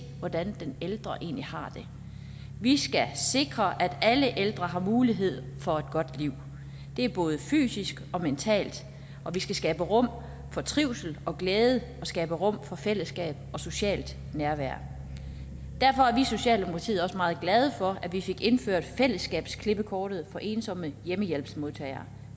hvordan den ældre egentlig har det vi skal sikre at alle ældre har mulighed for et godt liv både fysisk og mentalt og vi skal skabe rum for trivsel og glæde og skabe rum for fællesskab og socialt nærvær derfor er socialdemokratiet også meget glade for at vi fik indført fællesskabsklippekortet for ensomme hjemmehjælpsmodtagere